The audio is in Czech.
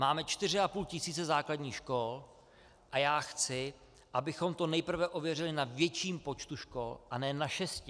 Máme čtyři a půl tisíce základních škol a já chci, abychom to nejprve ověřili na větším počtu škol, a ne na šesti.